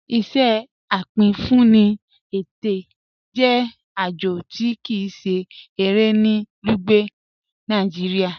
Iṣẹ apínfúnì ẹtẹ jẹ ajọ̀ tí kíi se ẹ̀rẹ̀ ní Lugbe, Nàìjíríà.